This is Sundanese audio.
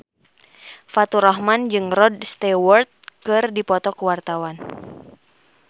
Faturrahman jeung Rod Stewart keur dipoto ku wartawan